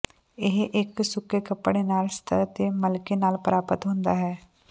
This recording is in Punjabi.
ਇਹ ਇੱਕ ਸੁੱਕੇ ਕੱਪੜੇ ਨਾਲ ਸਤਹ ਤੇ ਮਲਕੇ ਨਾਲ ਪ੍ਰਾਪਤ ਹੁੰਦਾ ਹੈ